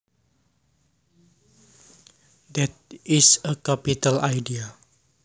That is a capital idea